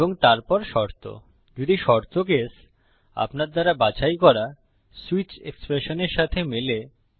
এবং তারপর শর্ত যদি শর্ত কেস আপনার দ্বারা বাছাই করা সুইচ এক্সপ্রেশনের সাথে মেলে